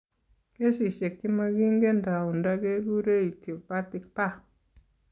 Kesishek chemakingen taunda kekure idiopathic pah